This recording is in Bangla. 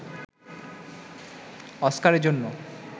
অস্কারের জন্য